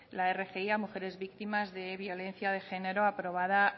la rgi a mujeres víctimas de violencia de género aprobada